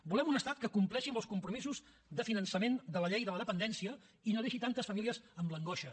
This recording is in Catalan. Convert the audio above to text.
volem un estat que compleixi amb els compromisos de finançament de la llei de la dependència i no deixi tantes famílies amb l’angoixa